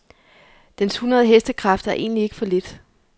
Dens hundrede hestekræfter er egentlig ikke for lidt.